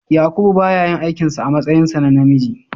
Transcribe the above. Yakubu ba ya yin aikin sa a matsayinsa na namiji.